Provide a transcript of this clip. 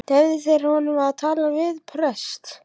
Leyfðu þeir honum að tala við prest?